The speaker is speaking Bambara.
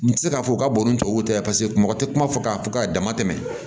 N tɛ se k'a fɔ u ka bon ni tubabu tɛ paseke mɔgɔ tɛ kuma fɔ k'a fɔ k'a dama tɛmɛ